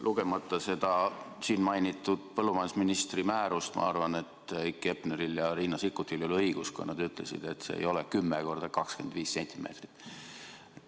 Lugemata seda siin mainitud põllumajandusministri määrust, ma arvan, et Heiki Hepneril ja Riina Sikkutil ei ole õigus, kui nad ütlesid, et puuri suurus ei ole 10 × 25 cm.